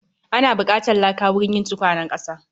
Ana buƙatar laka wurin yin tukwanen ƙasa